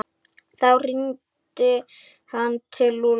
Þá hringdi hann til Lúlla.